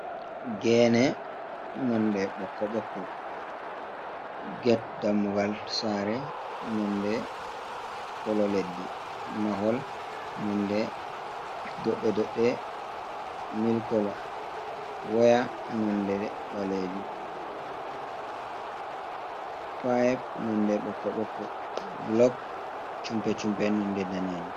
Geene nonde ɓokko ɓokko, get dammugal saare nonde kolo leddi, mahol nonde doɗɗe-doɗɗe milik kolo, kolo waya nonde ɓaleejum ,payip nonde ɓokko ɓokko blok cumpe cumpe nonde daneejum.